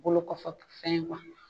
Bolo kɔfɛ fɛn ye